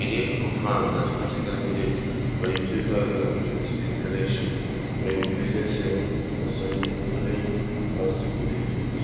e dey confirmed as party candidate for di two thousand and twenty-eight election from im prison cell on sunday following one symbolic vote